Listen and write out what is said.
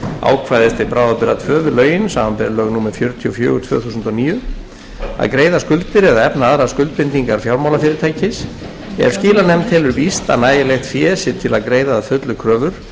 ákvæðis til bráðabirgða tvö við lögin samanber lög númer fjörutíu og fjögur tvö þúsund og níu að greiða skuldir eða efna aðrar skuldbindingar fjármálafyrirtækis ef skilanefnd telur víst að nægilegt fé sé til að greiða að fullu kröfur sem gætu notið